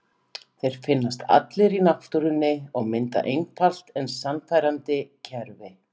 Þeir finnast allir í náttúrunni og mynda einfalt en sannfærandi kerfi.